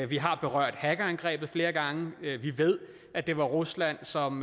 vi har berørt hackerangrebet flere gange vi ved at det var rusland som